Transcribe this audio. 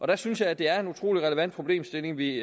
der synes jeg det er en utrolig relevant problemstilling vi